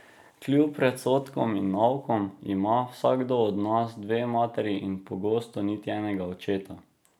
Kljub predsodkom in naukom ima vsakdo od nas dve materi in pogosto niti enega očeta.